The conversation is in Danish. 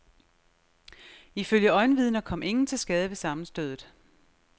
Ifølge øjenvidner kom ingen til skade ved sammenstødet.